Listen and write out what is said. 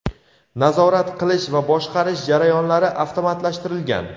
nazorat qilish va boshqarish jarayonlari avtomatlashtirilgan.